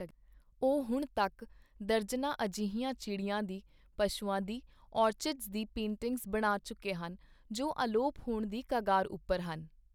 ਉਹ ਹੁਣ ਤੱਕ ਦਰਜਨਾਂ ਅਜਿਹੀਆਂ ਚਿੜੀਆਂ ਦੀ, ਪਸ਼ੂਆਂ ਦੀ, ਓਰਚਿਡਸ ਦੀ ਪੇਂਟਿੰਗਸ ਬਣਾ ਚੁੱਕੇ ਹਨ ਜੋ ਅਲੋਪ ਹੋਣ ਦੀ ਕਗਾਰ ਉੱਪਰ ਹਨ।